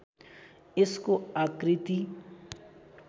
यसको आकृति